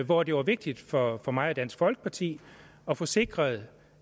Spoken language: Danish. hvor det var vigtigt for for mig og dansk folkeparti at få sikret